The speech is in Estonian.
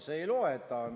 See ei loe, et ta ...